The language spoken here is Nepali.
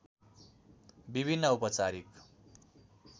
विभिन्न औपचारिक